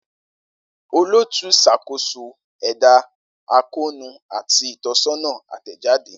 Olootu n ṣakoso ẹda akoonu ati itọsọna atẹjade.